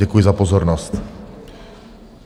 Děkuji za pozornost.